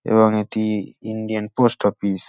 এবং এটি Indian post office.